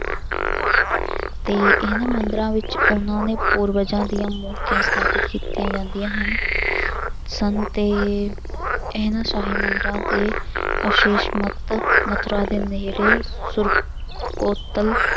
ਤੇ ਇਹਨਾਂ ਮੰਦਿਰਾਂ ਵਿੱਚ ਉਹਨਾਂ ਨੇ ਪੂਰਵਜਾਂ ਦੀਆਂ ਮੂਰਤੀਆਂ ਸਥਾਪਿਤ ਕੀਤੀਆਂ ਜਾਂਦੀਆਂ ਹਨ ਸਨ ਤੇ ਇਹਨਾਂ ਸ਼ਾਹੀ ਮੰਦਿਰਾਂ ਤੇ ਮਥੁਰਾ ਦੇ ਨੇੜੇ ਸੁਰ